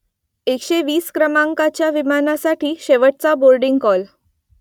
एकशे वीस क्रमांकाच्या विमानासाठी शेवटचा बोर्डिंग कॉल